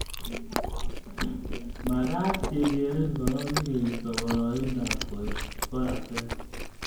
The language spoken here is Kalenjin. Makaat kekerin korok sikeisto boroindob koek koratet